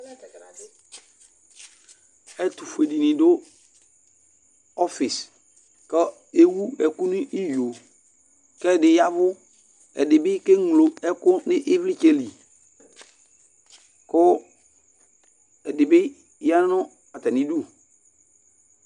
ɛtu fue dini du ɔfis, kɔ ewu ɛku nu iyo, k'ɛdi yavù, ɛdi bi ka eŋlo ɛku n'ivlitsɛ li, ku ɛdi bi ya nu atami idú